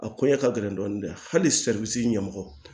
A koɲɛ ka gɛlɛn dɔɔnin dɛ hali seribisi ɲɛmɔgɔ